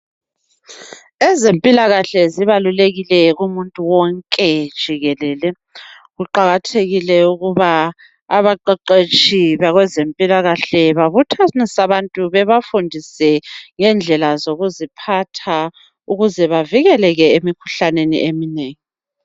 Ezempilakahle zibalulekile kumuntu wonke jikelele. Kuqakathekile ukuba abaqeqetshi bakwezempilakahle babuthanise abantu babafundise ngendlela zokuziphatha ukuze bavikeleke emikhuhlaneni eminengi.